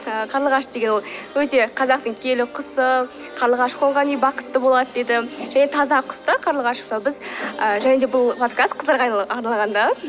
ы қарлығаш деген ол өте қазақтың киелі құсы қарлығаш қонған үй бақытты болады дейді және таза құс та қарлығаш ы және де бұл подкаст қыздарға арналған да